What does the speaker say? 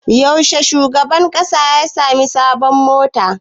Yaushe shugaban ƙasa ya sami sabon mota?